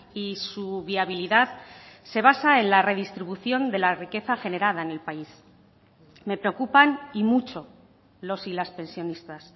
y su viabilidad se basa en la redistribución de la riqueza generada en el país me preocupan y mucho los y las pensionistas